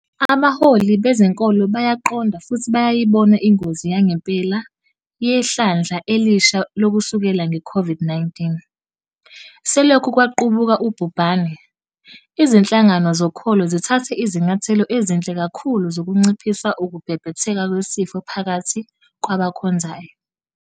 Abaholi bezenkolo bayaqonda futhi bayayibona ingozi yangempela yehlandla elisha lokusuleleka ngeCOVID-19. Selokhu kwaqubuka ubhubhane, izinhlangano zokholo zithathe izinyathelo ezinhle kakhulu zokunciphisa ukubhebhetheka kwesifo phakathi kwabakhonzayo.